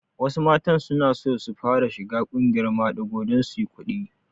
Wasu matan sunaso su fara shiga ƙungiyar maɗigo don suyi kuɗi